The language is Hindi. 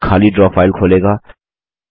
यह खाली ड्रा फाइल खोलेगा